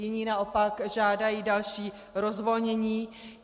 Jiní naopak žádají další rozvolnění.